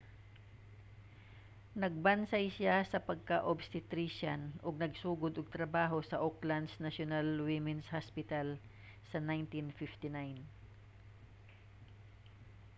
nagbansay siya sa pagka-obstetrician ug nagsugod og trabaho sa auckland's national women's hospital sa 1959